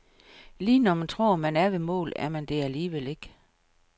Lige når man tror, man er ved målet, er man det alligevel ikke.